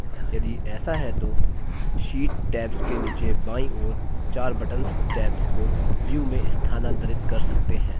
यदि ऐसा है तो sheet tabs के नीचे बायीं ओर चार buttons tabs को view में स्थानांतरित कर सकते हैं